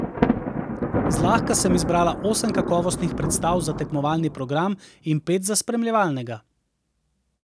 Zlahka sem izbrala osem kakovostnih predstav za tekmovalni program in pet za spremljevalnega.